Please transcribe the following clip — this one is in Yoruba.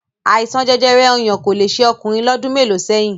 Àìsàn jẹjẹrẹ ọyàn kò le ṣe ọkùnrin lọ́dún mélòó sẹ́yìn